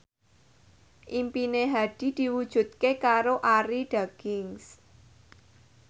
impine Hadi diwujudke karo Arie Daginks